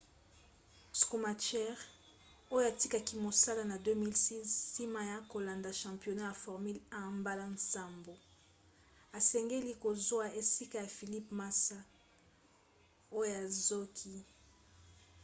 schumacher oyo atikaki mosala na 2006 nsima ya kolanda championnat ya formule 1 mbala nsambo asengeli kozwa esika ya felipe massa oyo azoki